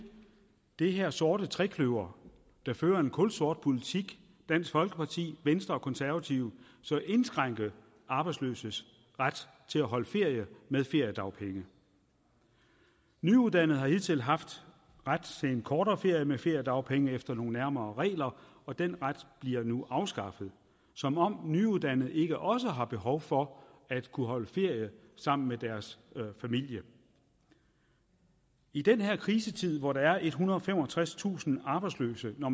det her sorte trekløver der fører en kulsort politik dansk folkeparti venstre og konservative indskrænke arbejdsløses ret til at holde ferie med feriedagpenge nyuddannede har hidtil haft ret til en kortere ferie med feriedagpenge efter nogle nærmere regler og den ret bliver nu afskaffet som om nyuddannede ikke også har behov for at kunne holde ferie sammen med deres familie i den her krisetid hvor der er ethundrede og femogtredstusind arbejdsløse når